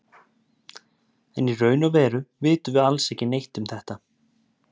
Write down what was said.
en í raun og veru vitum við alls ekki neitt um þetta